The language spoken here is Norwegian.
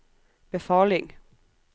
befaling